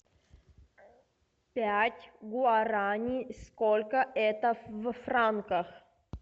пять гуараней сколько это в франках